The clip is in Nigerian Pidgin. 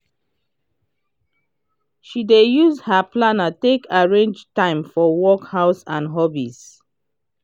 she dey use her planner take arrange time for work house and hobbies.